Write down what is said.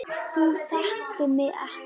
Þú þekktir mig ekki.